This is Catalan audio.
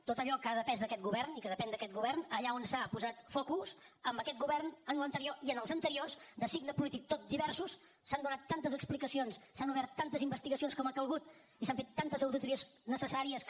tot allò que ha depès d’aquest govern i que depèn d’aquest govern allà on s’ha posat focus en aquest govern en l’anterior i en els anteriors de signe polític tot divers s’han donat tantes explicacions s’han obert tantes investigacions com ha calgut i s’han fet tantes auditories necessàries que